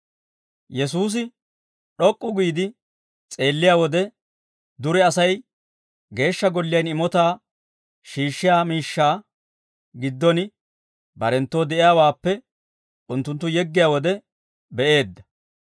Yesuusi d'ok'k'u giide s'eelliyaa wode, dure Asay geeshsha golliyaan imotaa shiishshiyaa miishshaa giddon barenttoo de'iyaawaappe unttunttu yeggiyaa wode be'eedda.